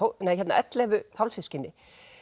ellefu hálfsystkini